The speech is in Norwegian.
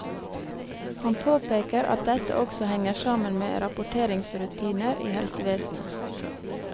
Han påpeker at dette også henger sammen med rapporteringsrutiner i helsevesenet.